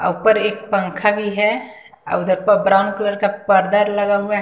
अ ऊपर एक पंखा भी है अ उधर प ब्राउन कलर का पर्दा लगा हुआ --